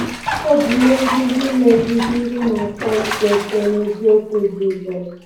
Ọ bụ ihe nduzi na-eduzi ndị na-achọ ịtọ eto n'eziokwu Jizọs”.